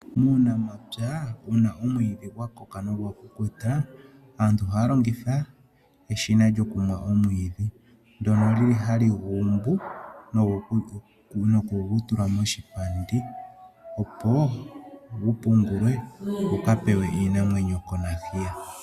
Muunamapya uuna omwidhi gwakoka nogwa kukuta aantu ohaa longitha eshina lyokumwa omwiidhi, ndono lili hali guumbu nokugu tula moshipandi opo gupungulwe guka pewe iinamwenyo konakuyiwa.